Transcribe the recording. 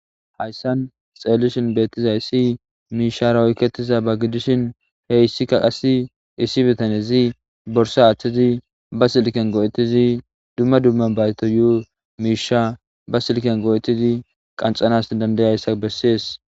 Dayssan xeellishin beettizay issi miishara oykketiza ba gidishin heyssikka qass issi bitanezi borsa aththizi ba silken go'etizi dumma dumma bayto yu'u miisha ba silken go'etizi qanxanas dandayayssa bessees.